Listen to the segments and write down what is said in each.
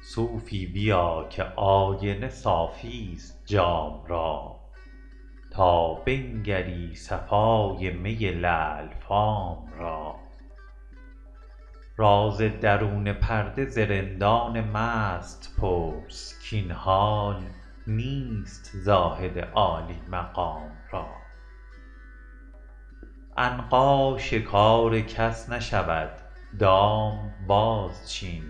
صوفی بیا که آینه صافی ست جام را تا بنگری صفای می لعل فام را راز درون پرده ز رندان مست پرس کاین حال نیست زاهد عالی مقام را عنقا شکار کس نشود دام بازچین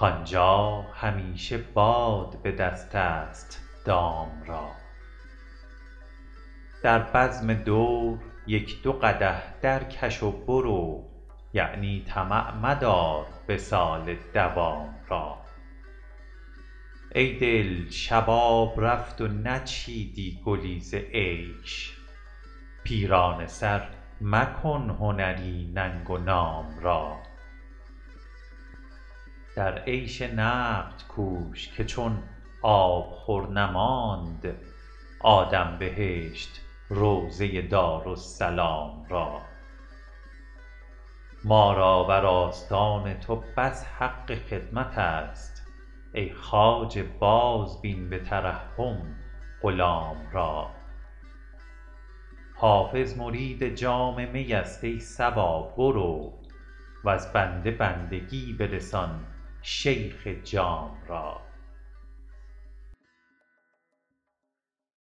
کآنجا همیشه باد به دست است دام را در بزم دور یک دو قدح درکش و برو یعنی طمع مدار وصال مدام را ای دل شباب رفت و نچیدی گلی ز عیش پیرانه سر مکن هنری ننگ و نام را در عیش نقد کوش که چون آبخور نماند آدم بهشت روضه دارالسلام را ما را بر آستان تو بس حق خدمت است ای خواجه بازبین به ترحم غلام را حافظ مرید جام می است ای صبا برو وز بنده بندگی برسان شیخ جام را